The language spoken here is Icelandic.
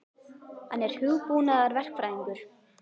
Hann er hugbúnaðarverkfræðingur.